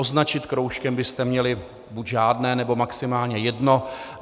Označit kroužkem byste měli buď žádné, nebo maximálně jedno.